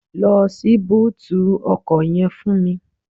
Lọ ṣí búùtì ọkọ̀ yẹn fún mi